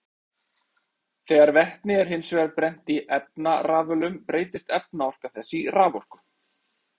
Þegar vetni er hins vegar brennt í efnarafölum breytist efnaorka þess í raforku.